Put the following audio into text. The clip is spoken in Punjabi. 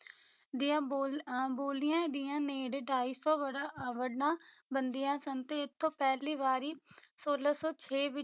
ਦੀਆਂ ਬੋਲ ਅਹ ਬੋਲੀਆਂ ਦੀਆਂ ਨੇੜੇ ਢਾਈ ਸੌ ਵਰਾ ਅਹ ਵਰਣਾ ਬਣਦੀਆਂ ਸਨ ਤੇ ਇੱਥੋਂ ਪਹਿਲੀ ਵਾਰੀ ਸੌਲਾਂ ਸੌ ਛੇ ਵਿੱਚ